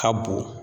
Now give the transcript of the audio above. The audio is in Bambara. Ka bon